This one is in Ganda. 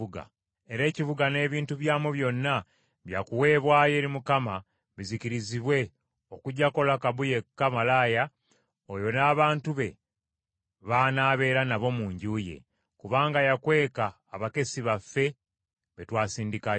Era ekibuga n’ebintu byamu byonna bya kuweebwayo eri Mukama bizikirizibwe okuggyako Lakabu yekka malaaya, oyo n’abantu be baanaabeera nabo mu nju ye. Kubanga yakweka abakessi baffe be twasindikayo.